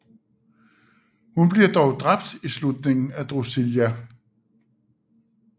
Hun bliver dog dræbt i slutningen af Drusilla